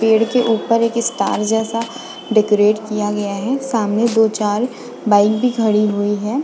पेड़ के उपर एक स्टार जैसा डेकोरेट किया गया है सामने दो चार बाइक भी खड़ी हुई है।